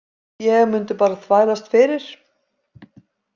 Ég mundi bara þvælast fyrir.